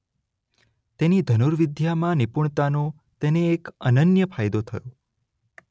તેની ધનુર્વિદ્યામાં નિપુણતાનો તેને એક અનન્ય ફાયદો થયો.